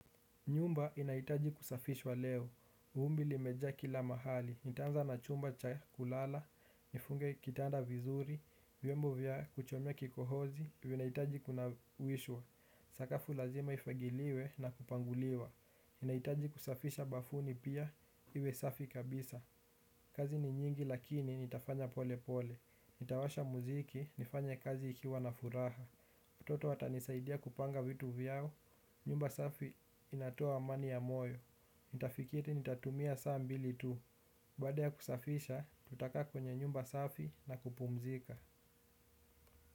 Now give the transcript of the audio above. Nyumba inahitaji kusafishwa leo, vumbi limejaa kila mahali, nitaanza na chumba cha kulala, nifunge kitanda vizuri, vyombo vya kuchomea kikohozi, vinahitaji kunawishwa, sakafu lazima ifagiliwe na kupanguliwa nahitaji kusafisha bafuni pia, iwe safi kabisa, kazi ni nyingi lakini nitafanya pole pole, nitawasha mziki, nifanye kazi nikiwa na furaha watoto watanisaidia kupanga vitu vyao, nyumba safi inatoa amani ya moyo. Nitafikiri nitatumia saa mbili tu, baada ya kusafisha tutakaa kwenye nyumba safi na kupumzika.